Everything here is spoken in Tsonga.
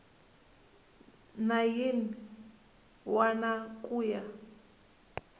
na yin wana ku ya